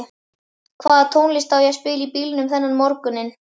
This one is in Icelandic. Hvaða tónlist á ég að spila í bílnum þennan morguninn?